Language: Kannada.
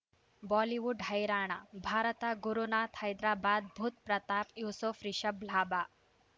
ಬಾಲಿವುಡ್ ಹೈರಾಣ ಭಾರತ ಗುರುನಾಥ್ ಹೈದರಾಬಾದ್ ಬುಧ್ ಪ್ರತಾಪ್ ಯೂಸುಫ್ ರಿಷಬ್ ಲಾಭ